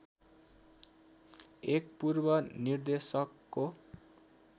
एक पूर्व निर्देशकको